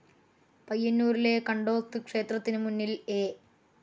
പയ്യന്നൂരിലെ കണ്ടോത്ത് ക്ഷേത്രത്തിനു മുന്നിൽ എ.